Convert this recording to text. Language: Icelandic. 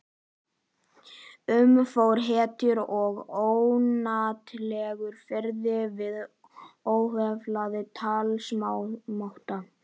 Um mig fór heitur og ónotalegur fiðringur við óheflaðan talsmáta